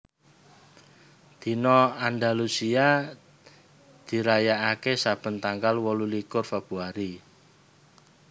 Dina Andalusia dirayakaké saben tanggal wolulikur Februari